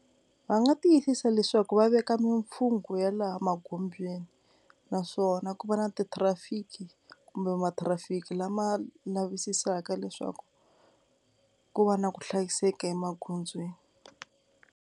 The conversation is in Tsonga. Va nga tiyisisa leswaku va veka mimfhungo ya laha magondzweni naswona ku va na ti traffic kumbe ma traffic lama lavisisaka leswaku ku va na ku hlayiseka emagondzweni.